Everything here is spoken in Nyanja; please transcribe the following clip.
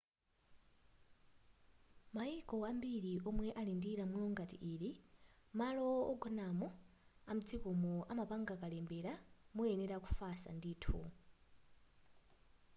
m'mayiko ambiri omwe ali ndi lamulo ngati ili malo ogonamo amdzikomo amapanga kalembera muyenera kufusa ndithu